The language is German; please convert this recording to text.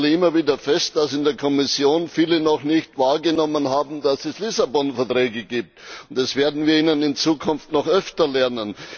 Ich stelle immer wieder fest, dass in der Kommission viele noch nicht wahrgenommen haben, dass es den Vertrag von Lissabon gibt. Das werden wir sie in Zukunft noch öfter lehren.